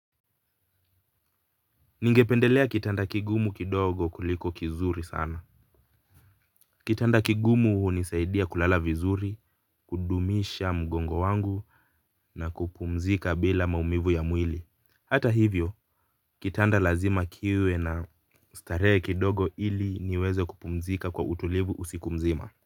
Ningependelea kitanda kigumu kidogo kuliko kizuri sana. Kitanda kigumu hunisaidia kulala vizuri, kudumisha mgongo wangu na kupumzika bila maumivu ya mwili. Hata hivyo, kitanda lazima kiwe na ustarehe kidogo ili niweze kupumzika kwa utulivu usiku mzima.